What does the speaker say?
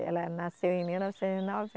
Ela nasceu em mil novecentos e